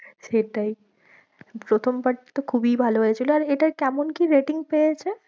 সেটাই প্রথম part টা তো খুবই ভালো হয়েছিল, আর এটায় কেমন কি ratings রয়েছে?